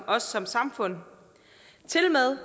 os som samfund tilmed